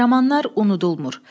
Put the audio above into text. Qəhrəmanlar unudulmur.